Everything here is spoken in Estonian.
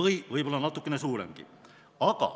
või võib-olla natukene suuremgi.